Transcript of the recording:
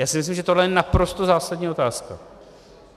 Já si myslím, že tohle je naprosto zásadní otázka.